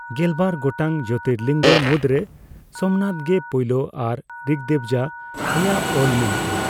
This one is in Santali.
ᱜᱮᱞᱵᱟᱨ ᱜᱚᱴᱟᱝ ᱡᱳᱛᱤᱨᱞᱤᱝᱜᱚ ᱢᱩᱫᱽᱨᱮ ᱥᱚᱢᱱᱟᱛ ᱜᱮ ᱯᱳᱭᱞᱳ ᱟᱨ ᱨᱤᱠᱫᱮᱵᱡᱟ ᱨᱮᱭᱟᱜ ᱚᱞ ᱢᱮᱱᱟᱜᱼᱟ ᱾